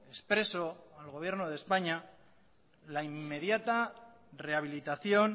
expreso al gobierno de españa la inmediata rehabilitación